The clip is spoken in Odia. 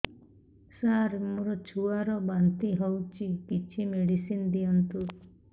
ସାର ମୋର ଛୁଆ ର ବାନ୍ତି ହଉଚି କିଛି ମେଡିସିନ ଦିଅନ୍ତୁ